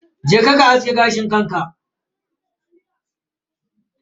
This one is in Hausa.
Je ka ka aske gashin kanka.